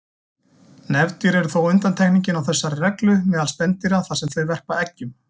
Nefdýr eru þó undantekningin á þessari reglu meðal spendýra þar sem þau verpa eggjum.